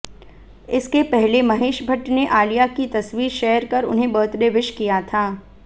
इसके पहले महेश भट्ट ने आलिया की तस्वीर शेयर कर उन्हें बर्थडे विश किया था